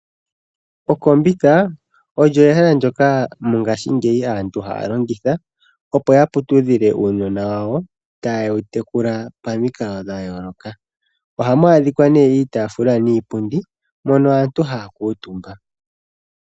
Okombitha olyo ehala ndyoka mongashingeyi aantu haya longitha, opo ya putudhile uunona wawo, tayewu tekula pamikalo dhayooloka. Ohamu adhika nee iitaafula niipundi, mono aantu haya kuuntumba.